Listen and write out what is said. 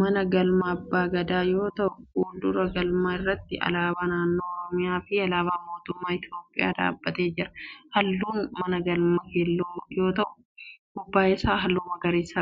mana galmaa abba Gadaa yoo ta'u fuuldura galma irratti alaabaa naannoo oromiyaa fi alaabaan mootummaa Itiyoophiyaa dhaabbatee jira. Halluun mana galmaa keelloo yoo ta'u gubbaa isaa halluu magariisa qaba.